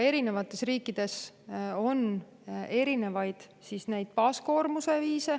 Erinevates riikides on erinevaid baaskoormuse katmise viise.